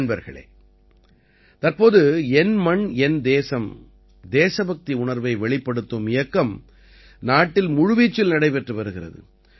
நண்பர்களே தற்போது என் மண் என் தேசம் தேசபக்தி உணர்வை வெளிப்படுத்தும் இயக்கம் நாட்டில் முழு வீச்சில் நடைபெற்று வருகிறது